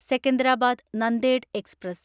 Secunderabad Nanded express